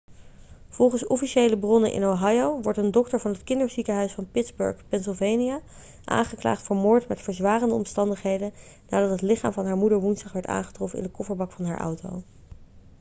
volgens officiële bronnen in ohio wordt een dokter van het kinderziekenhuis van pitssburgh pennsylvania aangeklaagd voor moord met verzwarende omstandigheden nadat het lichaam van haar moeder woensdag werd aangetroffen in de kofferbak van haar auto